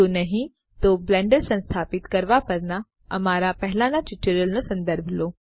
જો નહી તો બ્લેન્ડર સંસ્થાપિત કરવા પરના અમારા પહેલાં ટ્યુટોરિયલ્સનો સંદર્ભ લો